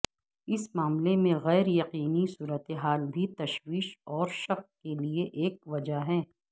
اس معاملے میں غیر یقینی صورتحال بھی تشویش اور شک کے لئے ایک وجہ ہے